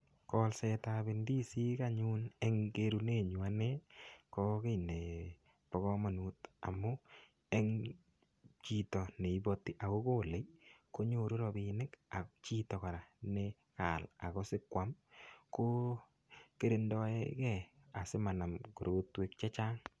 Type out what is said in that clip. Kolsetab ndisik anyn eng kerunenyu ane ko kiy nebo komonut, amu eng chito neipoti akokolei konyoru rapinik. Ak chito kora nekaal akosikoam ko kirindoegei asimanam korotwek chechang.